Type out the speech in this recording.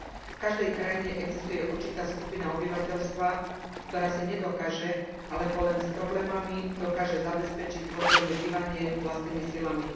V každej krajine existuje určitá skupina obyvateľstva, ktorá si nedokáže alebo len s problémami dokáže zabezpečiť dôstojné bývanie vlastnými silami.